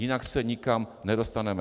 Jinak se nikam nedostaneme.